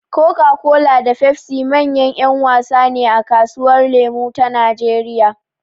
Coca-Cola da Pepsi manyan ‘yan wasa ne a kasuwar lemo ta Najeriya.